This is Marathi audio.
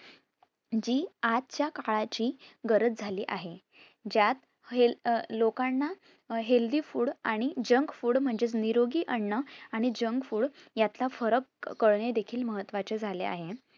जी आजच्या काळाची गरज झाली आहे. ज्यात heal अं लोकांना healthy food आणि junk food म्हणजे निरोगी अन्न आणि junk food यातील फरक कळणे देखील महत्वाचं झाले आहे.